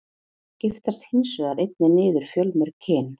Þeir skiptast hins vegar einnig niður fjölmörg kyn.